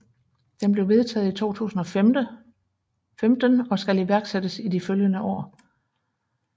Den blev vedtaget i 2015 og skal iværksættes i de følgende år